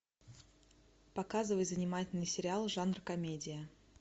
показывай занимательный сериал жанра комедия